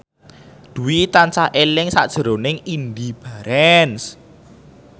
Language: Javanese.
Dwi tansah eling sakjroning Indy Barens